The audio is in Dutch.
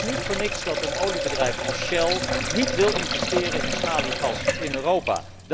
Het is niet voor niets dat een oliebedrijf als Shell niet wil investeren in schaliegas in Europa.